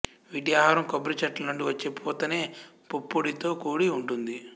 వీటి ఆహారం కొబ్బరిచెట్ల నుండి వచ్చే పూతేనె పుప్పొడితో కూడి ఉంటుంది